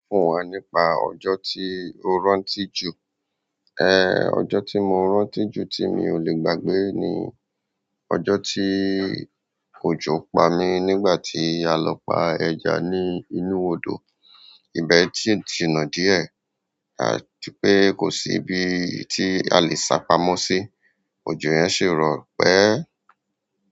Fún wa nípa ọjo tí o rántí jù. Ehn, ọjọ́ tí mo rántí jù tí mi ò lè gbàgbé ni ọjọ́ tí òjò pa mí nígbà tí a lọ pa ẹja ní inú odò. Ibẹ̀ tí ti nà díẹ̀, à ti pé kò sí ibi tí a lè sápamọ́ sí, òjò yẹn ṣe rọ pẹ̀.